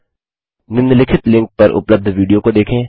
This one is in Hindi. निम्नलिखित लिंक पर उपलब्ध विडियो को देखें